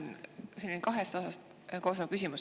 Minul on kahest osast koosnev küsimus.